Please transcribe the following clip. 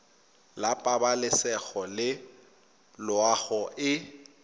la pabalesego le loago e